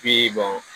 Bi